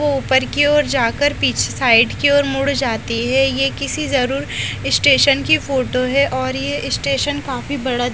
ऊपर की ओर जा कर पीछे साईड की ओर मुड़ जाती है ये किसी जरूर स्टेशन की फोटो है और ये स्टेशन काफी बड़ा --